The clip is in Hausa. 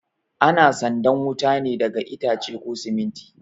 Ana sandan wuta ne daga itace ko siminti